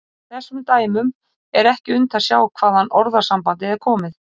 Af þessum dæmum er ekki unnt að sjá hvaðan orðasambandið er komið.